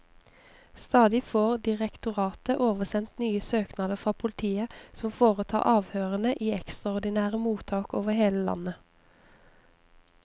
Stadig får direktoratet oversendt nye søknader fra politiet, som foretar avhørene i ekstraordinære mottak over hele landet.